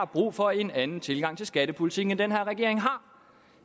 brug for en anden tilgang til skattepolitikken end den her regering har